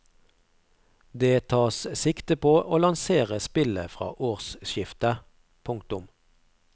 Det tas sikte på å lansere spillet fra årsskiftet. punktum